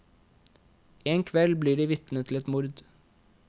En kveld blir de vitne til et mord.